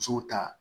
Musow ta